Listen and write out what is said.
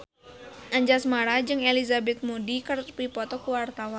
Anjasmara jeung Elizabeth Moody keur dipoto ku wartawan